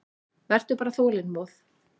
Vertu bara þolinmóð.